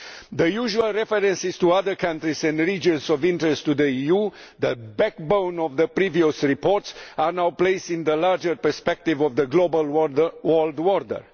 The usual references to other countries and regions of interest to the EU, the backbone of the previous reports, are now placed in the larger perspective of the global world order.